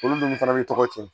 Olu dun fana bɛ tɔgɔ tiɲɛ